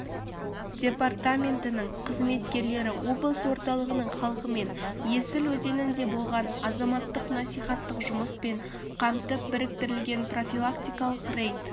департаментінің қызметкерлері облыс орталығының халқы мен есіл өзенінде болған азаматтарды насихаттық жұмыспен қамтып біріктірілген профилактикалық рейд